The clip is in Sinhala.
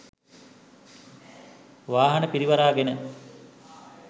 වාහන පිරිවරාගෙන.